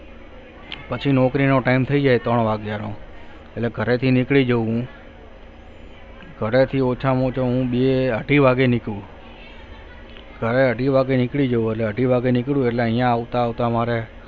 પછી નોકરી નો time થઇ જાય ત્રણ વાગે નો એટલે ઘરેથી નીકળી જાવ હું ઘરે થી ઓછા માં ઓછુ બે અઢી વાગે નીકળું ઘરે અઢી વાગે નીકડી જવ એટલે અઢી વાગે નીક્ડું એટલે અહી આવતા આવતા મારે